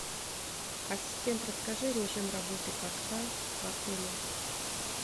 ассистент расскажи режим работы катка в отеле